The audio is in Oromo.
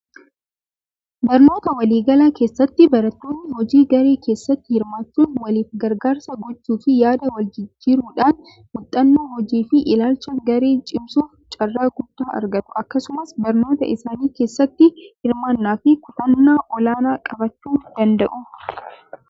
Barnoota waliigalaa keessatti barattoonni hojii garee keessatti hirmaachuun waliif gargaarsa gochuu fi yaada wal jijjiruudhaan muuxannoo hojii fi ilaalcha garee cimsuuf carraa guutuu argatu. Akkasumas barnoota isaanii keessatti hirmaannaa fi kutannaa olaanaa qabaachuu danda'u.